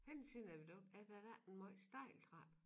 Henne ved siden af viadukt er der da ikke en måj stejl trappe